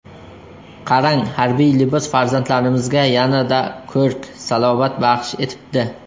Qarang, harbiy libos farzandlarimizga yanada ko‘rk, salobat baxsh etibdi.